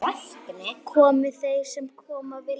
Komi þeir sem koma vilja-?